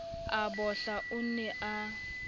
a bohla o ne a